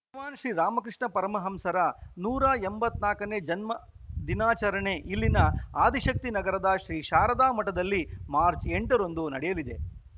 ಭಗವಾನ್‌ ಶ್ರೀ ರಾಮಕೃಷ್ಣ ಪರಮಹಂಸರ ನೂರ ಎಂಬತ್ತ್ ನಾಲ್ಕನೇ ಜನ್ಮದಿನಾಚರಣೆ ಇಲ್ಲಿನ ಆದಿಶಕ್ತಿನಗರದ ಶ್ರೀ ಶಾರದಾ ಮಠದಲ್ಲಿ ಮಾರ್ಚ್ ಎಂಟರಂದು ನಡೆಯಲಿದೆ